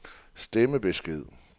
stemmebesked